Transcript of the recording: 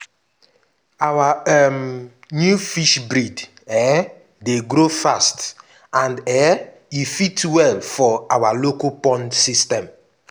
our um new fish breed um dey grow fast and um e fit well for our local pond system.